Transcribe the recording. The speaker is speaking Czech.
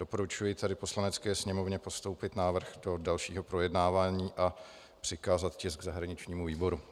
Doporučuji tedy Poslanecké sněmovně postoupit návrh do dalšího projednávání a přikázat tisk zahraničnímu výboru.